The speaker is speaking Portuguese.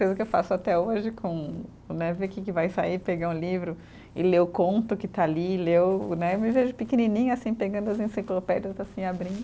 Coisa que eu faço até hoje com, né, ver que que vai sair, pegar um livro e ler o conto que está ali, ler o, né. Eu me vejo pequenininha, assim, pegando as enciclopédias, assim, abrindo.